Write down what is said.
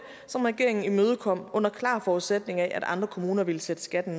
som regeringen imødekom under den klare forudsætning at andre kommuner ville sætte skatten